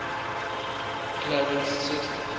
clarence's